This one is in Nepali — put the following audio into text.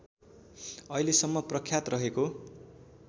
अहिलेसम्म प्रख्यात रहेको